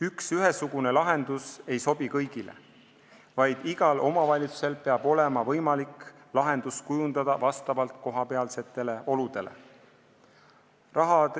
Üks ühesugune lahendus ei sobi kõigile, igal omavalitsusel peab olema võimalik lahendust kujundada vastavalt kohapealsetele oludele.